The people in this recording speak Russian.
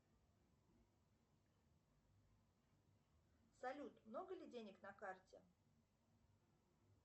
салют много ли денег на карте